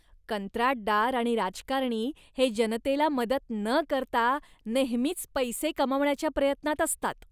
कंत्राटदार आणि राजकारणी हे जनतेला मदत न करता नेहमीच पैसे कमावण्याच्या प्रयत्नात असतात.